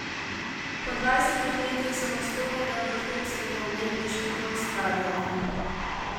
Po dvajsetih letih samostojnega vrhunskega umetniškega ustvarjanja.